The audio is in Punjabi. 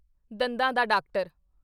ਦੰਦਾਂ ਦਾ ਡਾਕਟਰ